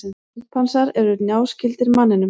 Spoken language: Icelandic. Simpansar eru náskyldir manninum.